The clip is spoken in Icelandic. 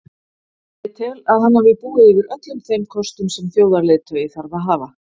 Ég tel að hann hafi búið yfir öllum þeim kostum sem þjóðarleiðtogi þarf að hafa.